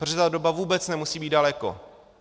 Protože ta doba vůbec nemusí být daleko.